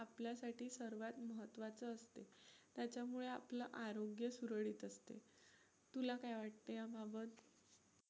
त्याच्यामुळे आपलं आरोग्य सुरळीत असतं, तुला काय वाटतंय याबाबत?